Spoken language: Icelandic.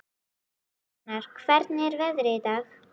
Sjafnar, hvernig er veðrið í dag?